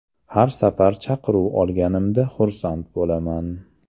Har safar chaqiruv olganimda xursand bo‘laman.